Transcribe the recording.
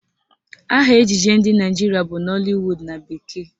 Aha ejije ndị Naịjirịa bụ Nollywood na bekee